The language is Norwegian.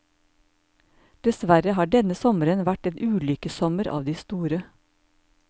Dessverre har denne sommeren vært en ulykkessommer av de store.